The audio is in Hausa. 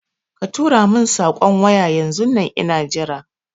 Katuro mun saƙon waya yanzun nan ina jira